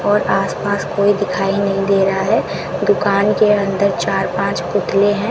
और आसपास कोई दिखाई नहीं दे रहा है दुकान के अंदर चार पांच पुतले हैं।